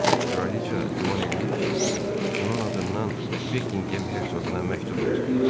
Kraliçe güman eləyir ki, onun adından Bekkinqem hersoquna məktub yazıblar.